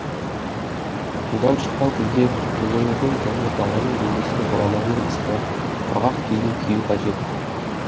судан шыққан кезде өзіңіздің және баланың денесін орамалмен ысқылап құрғақ киім кию қажет